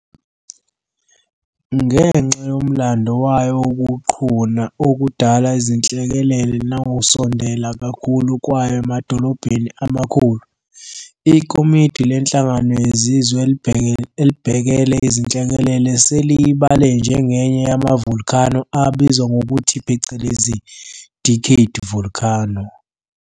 Ngenxa yomlando wayo wokuqhuna okudala izinhlekelele nangokusondela kakhulu kwayo emadolobheni amakhulu, iKomidi leNhlangano yeZizwe elibhekele Izinhlekelele seliyibale njengenye yama volcano abizwa ngokuthi phecelezi Decade Volcano.